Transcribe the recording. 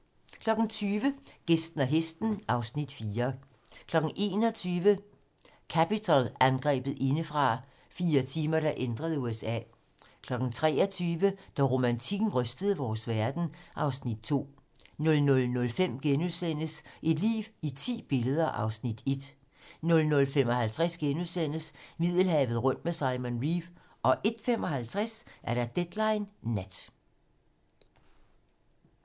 21:00: Capitol-angrebet indefra: Fire timer, der ændrede USA 23:00: Da romantikken rystede vores verden (Afs. 2) 00:05: Et liv i ti billeder (Afs. 1)* 00:55: Middelhavet rundt med Simon Reeve (4:4)* 01:55: Deadline nat